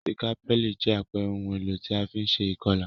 Sikapẹli jẹ àpere oun èlò ti a fi n se ìkolà